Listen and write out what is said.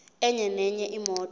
enye nenye imoto